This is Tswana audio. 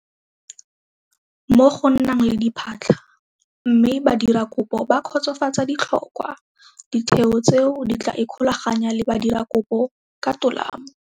Mo go nang le diphatlha mme badirakopo ba kgotsofatsa ditlhokwa, ditheo tseo di tla ikgolaganya le badirakopo ka tolamo.